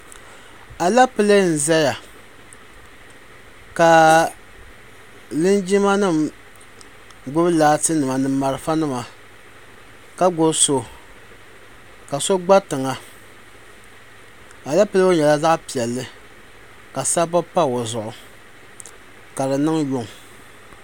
Aleepile n-zaya ka linjima nima gbubi laatinima ni malfanima ka gbubi so ka so gba tiŋa Aleepile ŋɔ nyɛla zaɣ' piɛlli ka sabbu pa o zuɣu ka di niŋ yuŋ.